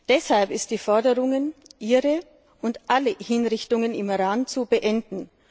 Deshalb ist die Forderung, ihre und alle Hinrichtungen im Iran zu beenden!